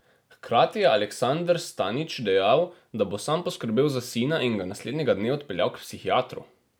Hkrati je Aleksander Stanič dejal, da bo sam poskrbel za sina in ga naslednjega dne odpeljal k psihiatru.